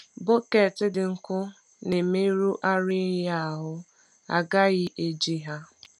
Bọket dị nkọ na-emerụ ara ehi ahụ, a gaghị eji ha.